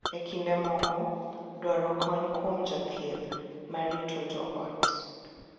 E kinde moko, dwaro kony kuom jathieth ma rito joot .